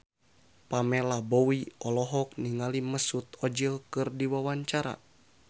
Pamela Bowie olohok ningali Mesut Ozil keur diwawancara